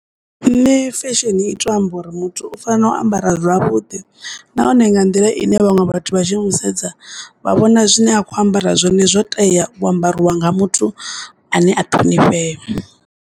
Nṋe fesheni i to amba uri muthu u tea u ambara zwavhuḓi nahone nga nḓila ine vhaṅwe vhathu vha tshi mu sedza vha vhona zwine a kho ambara zwone zwo tea u ambariwa nga muthu ane a ṱhonifhea.